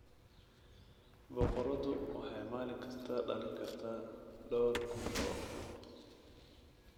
Boqoradu waxay maalin kasta dhalin kartaa dhawr kun oo ukun.